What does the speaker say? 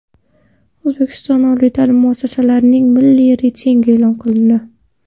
O‘zbekiston oliy ta’lim muassasalarining milliy reytingi e’lon qilindi.